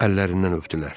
Əllərindən öpdülər.